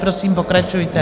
Prosím, pokračujte.